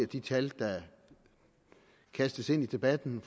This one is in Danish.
de tal der kastes ind i debatten